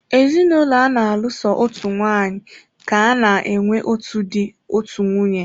Ezinụlọ ana-alụ so otu nwaanyị ka-ana enwe otu dị, otú nwunye.